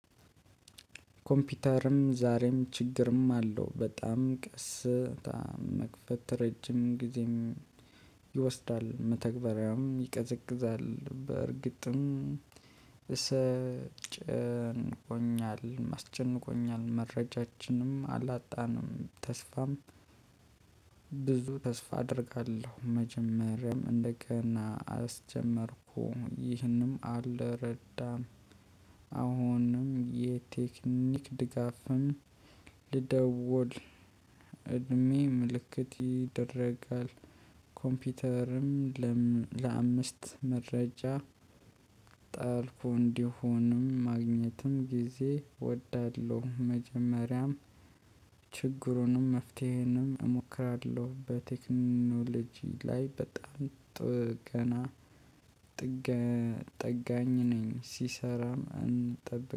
ኮምፒውተርም ዛሬም ችግርም አለው በጣም ቀስ በጣም መክፈት ረጅም ጊዜም ይወስዳል። መተግበሪያም ይቀዘቅዛል በእርግጥም እሰጨንቆኛል አስጨንቆኛል መረጃችንም አላጣንም። ተስፋም ብዙ ተስፋ አደርጋለሁ። መጀመሪያም እንደገና አስጀመርኩ ይህንም አልረዳም። አሁንም የቴክኒክ ድጋፍን ልደውል። እድሜ ምልክት ይደረጋል። ኮምፒውተርም ለአምስት መረጃ ጣልኩ። እንዲሆንም ማግኘትም ጊዜ እወዳለሁ። መጀመሪያም ችግሩንም መፍትሄንም እሞክራለሁ። በቴክኖሎጂ ላይ በጣም ጥገና ጥገ ጠጋኝ ነኝ። ሲሰራም እንጠብቅ